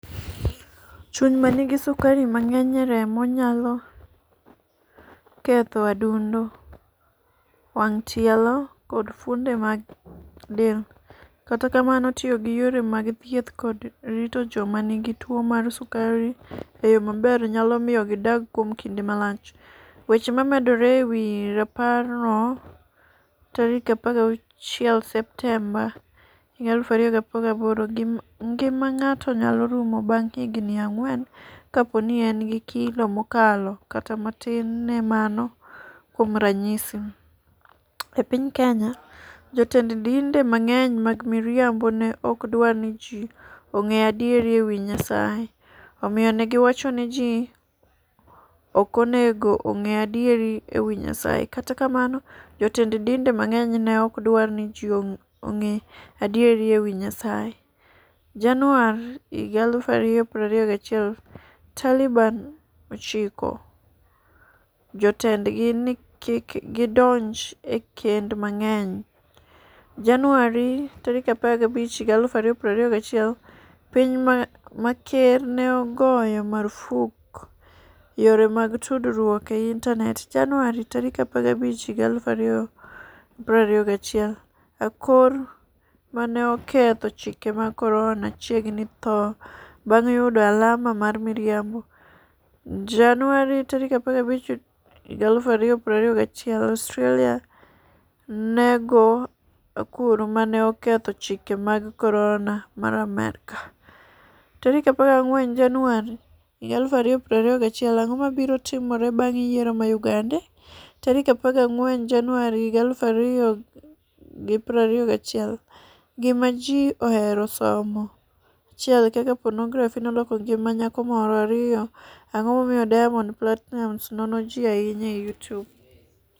Chuny ma nigi sukari mang'eny e remo nyalo ketho adundo, wang', tielo, koda fuonde mag del. Kata kamano, tiyo gi yore mag thieth koda rito joma nigi tuwo mar sukari e yo maber, nyalo miyo gidag kuom kinde malach. Weche momedore e wi raparno 16 Septemba 2018 Ngima ng'ato nyalo rumo bang ' higini ang'wen kapo ni en gi kilo mokalo kata matin ne mano Kuom ranyisi, e piny Kenya, jotend dinde mang'eny mag miriambo ne ok dwar ni ji ong'e adiera e wi Nyasaye, omiyo ne giwacho ni ji ok onego ong'e adiera e wi Nyasaye. Kata kamano, jotend dinde mang'eny ne ok dwar ni ji ong'e adiera e wi Nyasaye. Jan. 2021 Taliban ochiko jotendgi ni kik gidonj e kend mang'eny. Jan. 15 2021 Piny ma ker ne ogoyo marfuk yore mag tudruok e intanet. Jan. 15 2021 Akor 'ma ne oketho chike mag corona' chiegni tho bang' yudo alama mar miriambo. Jan. 15 2021 Australia nego akor 'ma ne oketho chike mag corona' mar Amerka. 14 Januar 2021 Ang'o mabiro timore bang' yiero mar Uganda? 14 Januar 2021 Gima Ji Ohero Somo 1 Kaka Ponografi Noloko Ngima Nyako Moro 2 Ang'o Momiyo Diamond Platinumz Nono Ji Ahinya e YouTube?